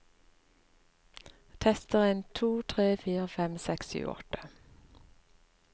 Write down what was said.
Tester en to tre fire fem seks sju åtte